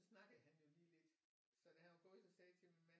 Snakkede han jo lige lidt så da han var gået så sagde jeg til min mand